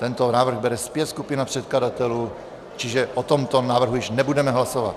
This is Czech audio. Tento návrh bere zpět skupina předkladatelů, čiže o tomto návrhu již nebudeme hlasovat.